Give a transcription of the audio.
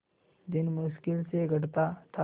दिन मुश्किल से कटता था